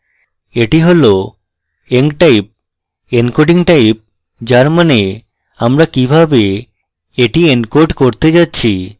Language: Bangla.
এটি হল enctype encoding type যার means আমরা কিভাবে এটি encode করতে যাচ্ছি